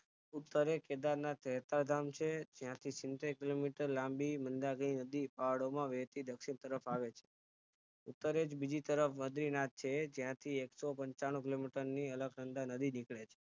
ઉત્તરે કેદારનાથ ધામ છે ત્યાંથી સિંતેર km લાંબી મંદાકિની નદી પહાડોમાં વહેતી દક્ષિણ તરફ આવે છે ઉત્તરેજ બીજી તરફ બદ્રીનાથ છે ત્યાંથી એકસો પંચાણું km અલખનંદા નદી નીકળે છે